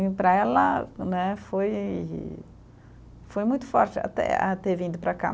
E para ela, né, foi foi muito forte até a, ter vindo para cá.